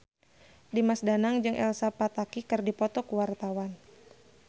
Dimas Danang jeung Elsa Pataky keur dipoto ku wartawan